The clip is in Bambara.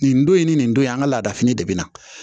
Nin don in ni nin don in an ka laada fini de bɛ na